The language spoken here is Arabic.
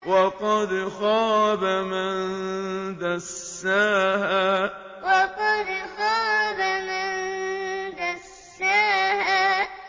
وَقَدْ خَابَ مَن دَسَّاهَا وَقَدْ خَابَ مَن دَسَّاهَا